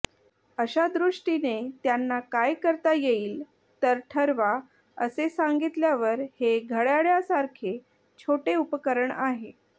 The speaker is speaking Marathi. अशा दृष्टीने त्यांना काय करता येईल तर ठरवा असे सांगितल्यावर हे घडय़ाळासारखे छोटे उपकरण आहे